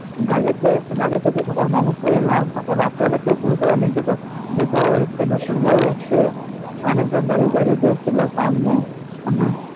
যাদের কে যাদেরকে যে সকল মানুষ কে নিয়ে এলাম তখন রাত্রে বেলা বুঝতে পারিনি তো যে বড়ো মানুষজন যাবে তবে